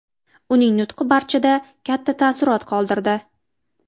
Uning nutqi barchada katta taassurot qoldirdi.